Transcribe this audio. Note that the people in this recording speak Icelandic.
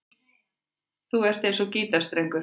Þú ert eins og gítarstrengur.